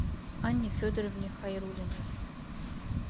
анне федоровне хайрулиной